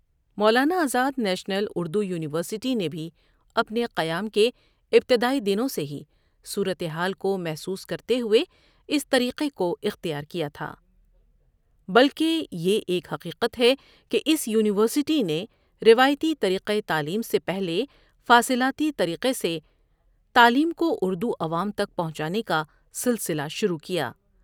مولا نا Azad national Urdu university نے بھی اپنے قیام کے ابتدائی دنوں سے ہی صورت حال کو محسوس کرتے ہوے اس طریقے کو احتیار کیا تھا۔ بلکہ یہ ایک حقیقت ہے کہ اس یونیورسٹی نے روایتی طریقہ تعلیم سے پہلے فاصلاتی طریقے سے تعلیم کو اردو عوام تک پہنچانے کا سلسلہ شروع کیا۔